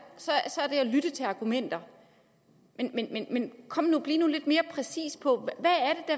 lytte til argumenterne men kom nu bliv lidt mere præcis på